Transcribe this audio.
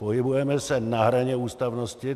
Pohybujeme se na hraně ústavnosti.